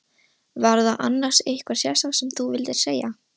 Var það annars eitthvað sérstakt sem þú vildir segja?